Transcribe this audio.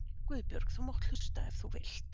Guðbjörg þú mátt hlusta ef þú vilt.